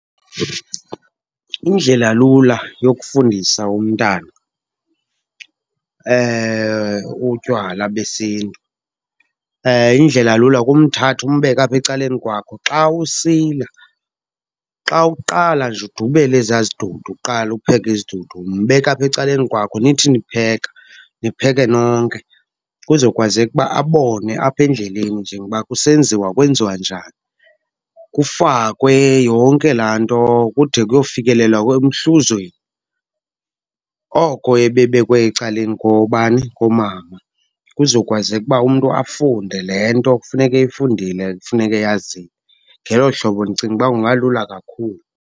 Indlela lula yokufundisa umntana utywala besintu, indlela lula kumthatha umbeke apha ecaleni kwakho xa usila. Xa uqala nje udubela ezaa zidudu, uqala upheka izidudu, mbeke apha ecaleni kwakho, nithi nipheka nipheke nonke. Kuzokwazeka uba abone apha endleleni njengoba kusenziwa kwenziwa njani. Kufakwe, yonke laa nto kude kuyofikelela emhluzweni, oko ebebekwe ecaleni kobani, komama. Kuzokwazeka uba umntu afunde le nto kufuneka eyifundile, kufuneka eyazile. Ngelo hlobo ndicinga uba kungalula kakhulu.